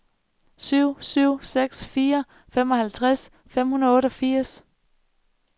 syv syv seks fire femoghalvtreds fem hundrede og otteogfirs